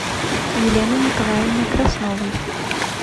елены николаевны красновой